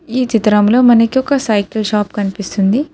ఈ చిత్రంలో మనకి ఒక సైకిల్ షాప్ కనిపిస్తుంది.